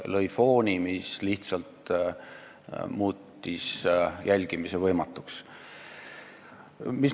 Ta lõi fooni, mis lihtsalt muutis jälgimise võimatuks.